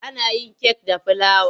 Ana yin kek da filawa.